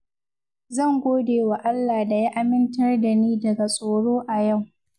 Zan godewa Allah da ya amintar da ni daga tsoro a yau.